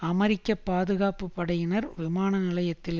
அமெரிக்க பாதுகாப்பு படையினர் விமான நிலையத்தில்